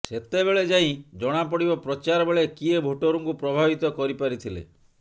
ସେତେବେଳେ ଯାଇ ଜଣାପଡ଼ିବ ପ୍ରଚାର ବେଳେ କିଏ ଭୋଟରଙ୍କୁ ପ୍ରଭାବିତ କରିପାରିଥିଲେ